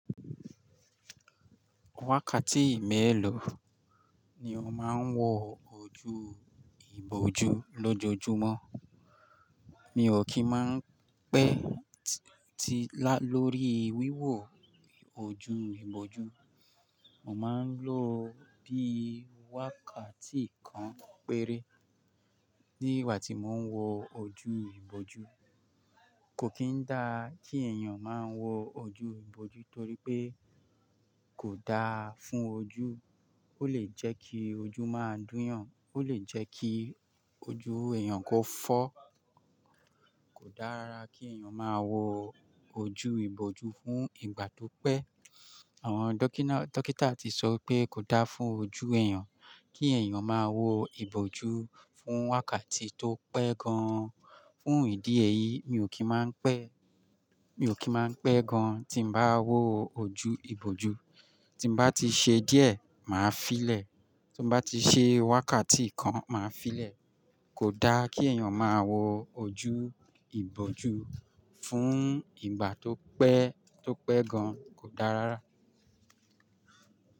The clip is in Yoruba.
Wákàtí mẹ́ẹ̀lọ̀ ni mo máa ń wọ ojú ìbòjú lójojúmọ́. Mi ò kí ń má pẹ́ ti lórí wíwọ ojú ìbòjú. Mo máa ń lo bí wákàtí kan péré nígbà tí mo ń wọ ojú ìbòjú. Kò kín dá kí èèyàn má wọ ojú ìbòjú torí pé kò da fún ojú. Ó lè jẹ́ kí ojú máa dúnyàn, ó lè jẹ́ kí ojú èèyàn kó fọ́. Kò dára kí èèyàn máa wọ ojú ìbòjú fún ìgbà tó pẹ́. Àwọn dọ́kítà ti sọ pé kò dáa fún ojú èèyàn kí èèyàn máa wọ ìbòjú fún wákàtí tó pẹ́ gan-an. Fún ìdí èyí, mi ò kí ń má n pẹ́, mi ò kí máa pẹ́ gan tí mo bá wọ ojú ìbòjú. Tí mo bá ti ṣe díẹ̀, màá fi lẹ. Tí mo bá ti ṣe wákàtí kan, màá fi lè. Kò dá kí èèyàn máa wọ ojú ìbòjú fún ìgbà tó pẹ́, tó pẹ́ gan. Kò dára rárá.